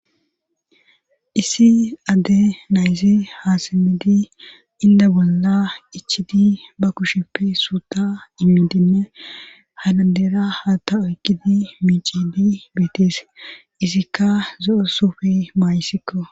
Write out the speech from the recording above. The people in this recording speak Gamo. issi adde nayzi haasemidi inda bolla ichidi ba kushepe suuta immidinne ha dandeera ha ta oykkidi miicidi beetees isikka zo7esufi maayisikko